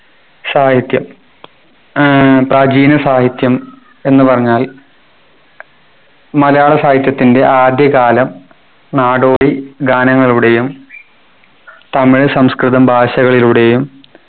സാഹിത്യം ഏർ പ്രാചീന സാഹിത്യം എന്ന് പറഞ്ഞാൽ മലയാള സാഹിത്യത്തിൻ്റെ ആദ്യ കാലം നാടോടി ഗാനങ്ങളുടെയും തമിഴ് സംസ്കൃതം ഭാഷകളിലൂടെയും